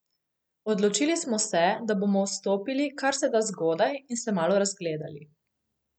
Odločili smo se, da bomo vstopili kar se da zgodaj in se malo razgledali.